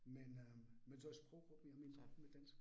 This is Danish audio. Men øh men så er sproggruppen jo mindre med dansk